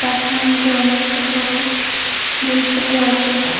কারখানার মধ্যে অনেক ছোট বড় জিনিসপত্র আছে।